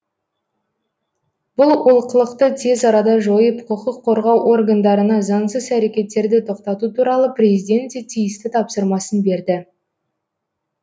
бұл олқылықты тез арада жойып құқық қорғау органдарына заңсыз әрекеттерді тоқтату туралы президент те тиісті тапсырмасын берді